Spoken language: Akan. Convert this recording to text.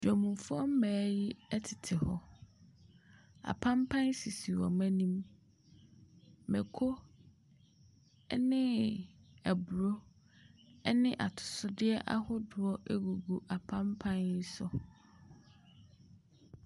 Dwamfoɔ mmaa yi tete hɔ. Apanpan sisi wɔn anim. Mako ne aburo ne atosodeɛ ahodoɔ gugu apanpan so.